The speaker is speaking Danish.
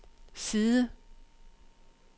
side